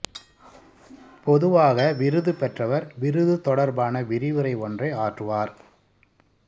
பொதுவாக விருது பெற்றவர் விருது தொடர்பான விரிவுரை ஒன்றை ஆற்றுவார்